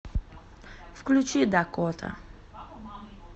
включи дакота